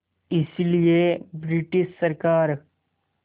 इसलिए ब्रिटिश सरकार